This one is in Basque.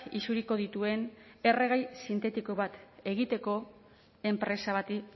isuriko dituen erregai sintetiko bat egiteko enpresa bati